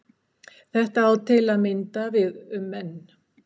þetta á til að mynda við um menn